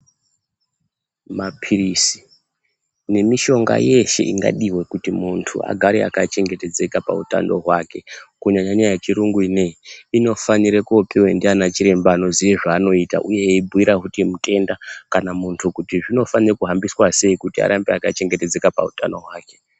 Maphirizi nemushonga yeshe ingadiwa kuti muntu agare akachengetedzeka pautano hwake, kunyanyanya yechirungu ineyi inofanire kopiwe ndianachiremba anoziye zvaanoita eivabhuyira futi mutenda kana muntu kuti zvinofanire kuhambiswa sei kuti arambe akachengetedzeka pautano hwake.